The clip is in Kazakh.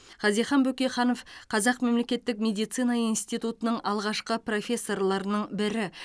хазихан бөкейханов қазақ мемлекеттік медицина институтының алғашқы профессорларының бірі